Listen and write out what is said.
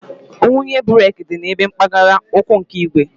Ngwunye breeki dị ebe mpaghara ụkwụ nke igwe